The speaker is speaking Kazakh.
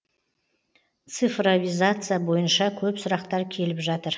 цифровизация бойынша көп сұрақтар келіп жатыр